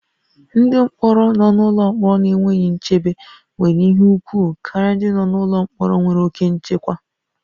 Ndị mkpọrọ nọ n'ụlọ mkpọrọ na-enweghị nchebe nwere ihe ùgwù karịa ndị nọ n'ụlọ mkpọrọ nwere oke nchekwa